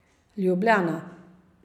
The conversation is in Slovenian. Ljubljana.